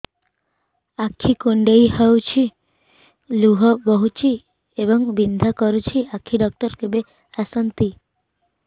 ଆଖି କୁଣ୍ଡେଇ ହେଉଛି ଲୁହ ବହୁଛି ଏବଂ ବିନ୍ଧା କରୁଛି ଆଖି ଡକ୍ଟର କେବେ ଆସନ୍ତି